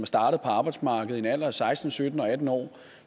startet på arbejdsmarkedet i en alder af seksten sytten eller atten år